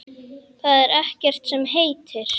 Það er ekkert sem heitir!